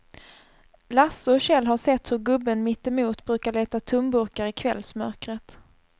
Lasse och Kjell har sett hur gubben mittemot brukar leta tomburkar i kvällsmörkret.